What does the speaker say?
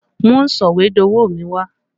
Mú sọ̀wédowó mi wá!